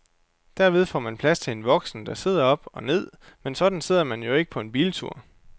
Derved får man plads til en voksen, der sidder op og ned, men sådan sidder man jo ikke på en biltur.